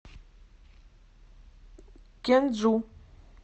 кенджу